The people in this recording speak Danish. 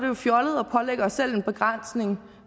jo fjollet at pålægge os selv en begrænsning